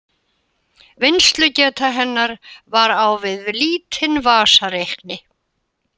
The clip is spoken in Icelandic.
Vinnslugeta hennar var á við lítinn vasareikni.